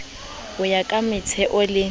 ho ya ka metheo le